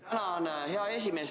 Tänan, hea esimees!